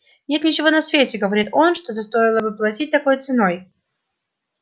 нет ничего на свете говорит он за что стоило бы платить такой ценой